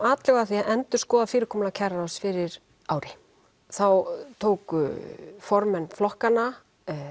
atlögu að því að endurskoða fyrirkomulag kjararáðs fyrir ári þá tóku formenn flokkanna